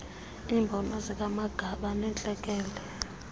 iimbono zikamagaba nentlekele